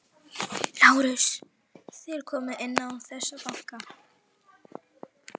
LÁRUS: Þér komið inn án þess að banka.